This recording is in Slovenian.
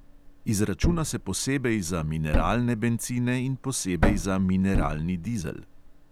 Izračuna se posebej za mineralne bencine in posebej za mineralni dizel.